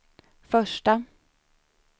första